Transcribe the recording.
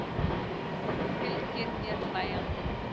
Og hún fylgir mér hlæjandi.